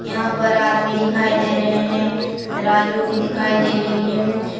यहां पर आदमी दिखाई दे रहे हैं तराजू भी दिखाई दे रही है।